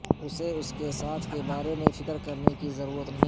اسے اس کے ساتھ کے بارے میں فکر کرنے کی ضرورت نہیں